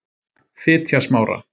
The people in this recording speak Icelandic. Fitjasmára